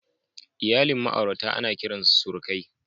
Iyalin ma'aurata ana kiran su surukai.